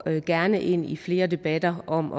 gerne ind i flere debatter om